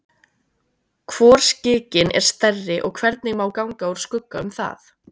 Hvor skikinn er stærri og hvernig má ganga úr skugga um það?